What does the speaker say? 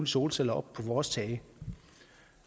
solceller op på vores tage